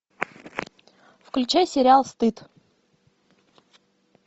включай сериал стыд